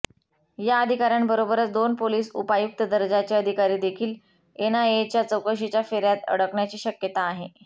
या अधिकाऱ्यांबरोबरच दोन पोलिस उपायुक्त दर्जाचे अधिकारीदेखील एनआयएच्या चौकशीच्या फेऱ्यात अडकण्याची शक्यता आहे